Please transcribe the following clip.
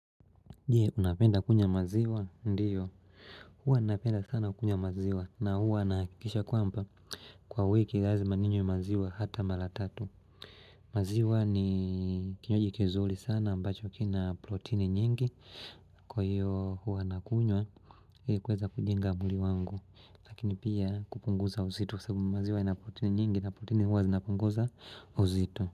Je unapenda kunywa maziwa? Ndiyo huwa napenda sana kunywa maziwa na huwa nahakikisha kwamba kwa wiki lazima ninywe maziwa hata mara tatu maziwa ni kinywaji kizuri sana ambacho kina protini nyingi kwa hiyo huwa nakunywa kuweza kujenga mwili wangu Lakini pia kupunguza uzito sababu maziwa ina proteini nyingi na proteini huwa zinapunguza uzito.